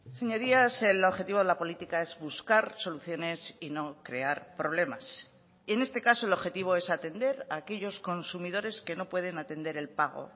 señorías el objetivo de la política es buscar soluciones y no crear problemas en este caso el objetivo es atender a aquellos consumidores que no pueden atender el pago